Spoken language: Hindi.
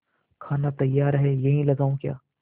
खाना तैयार है यहीं लगाऊँ क्या